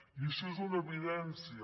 i això és una evidència